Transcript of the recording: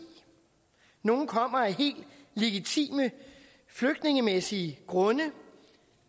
nogle kommer af helt legitime flygtningemæssige grunde